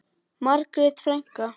Margrét frænka.